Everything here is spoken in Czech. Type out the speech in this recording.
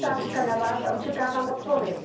Je to otázka na Vás a očekávám odpověď.